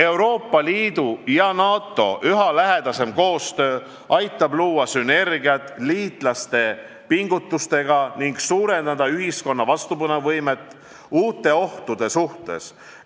Euroopa Liidu ja NATO üha lähedasem koostöö aitab luua sünergiat liitlaste pingutustega ning suurendada ühiskonna vastupanuvõimet uute ohtude suhtes.